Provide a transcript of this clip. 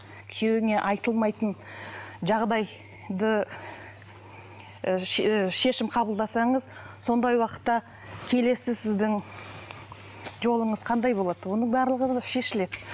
күейуіңе айтылмайтын жағдайды і і шешім қабылдасаңыз сондай уақытта келесі сіздің жолыңыз қандай болады оның барлығы шешіледі